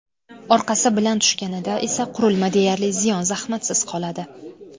Orqasi bilan tushganida esa qurilma deyarli ziyon-zahmatsiz qoladi.